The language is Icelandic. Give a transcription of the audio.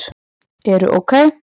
eru OK!